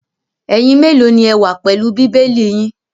Ẹ̀yin mélòó ni ẹ wà pẹ̀lú Bíbélì yín?